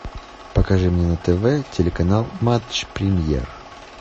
покажи мне на тв телеканал матч премьер